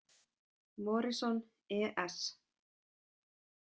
Morison, E S